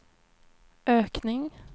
ökning